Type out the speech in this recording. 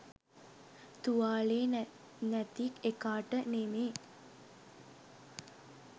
තුවාලේ නැති එකාට නෙමේ.